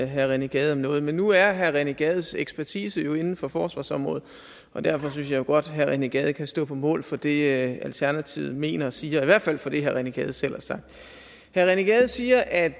herre rené gade om noget men nu er herre rené gades ekspertise jo inden for forsvarsområdet og derfor synes jeg godt herre rené gade kan stå på mål for det alternativet mener og siger eller i hvert fald for det herre rené gade selv har sagt herre rené gade siger at